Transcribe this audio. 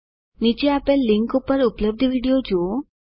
નીચે આપેલ લીનક ઉપર ઉપલબ્ધ વિડીઓ જુઓ